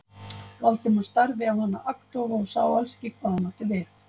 Valdimar starði á hana agndofa og sá alls ekki hvað hún átti við.